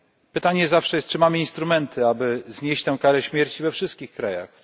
Pytanie zawsze jest, czy mamy instrumenty, aby znieść tę karę śmierci we wszystkich krajach?